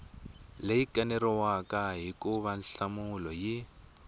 leyi kaneriwaka hikuva nhlamulo yi